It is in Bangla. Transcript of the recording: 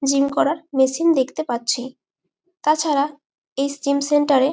জিম করার মেশিন দেখতে পারছি। তাছাড়া এই জিমসেন্টার -এ--